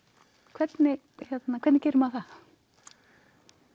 hvernig hvernig gerir maður það